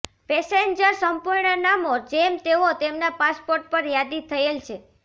passenger સંપૂર્ણ નામો જેમ તેઓ તેમના પાસપોર્ટ પર યાદી થયેલ છે